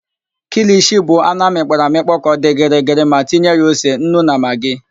KIlishi bụ anụ amịkpọrọ amịkpọ ka ọ dị gịrịgịrị ma tinye ya ose, nnu na magị.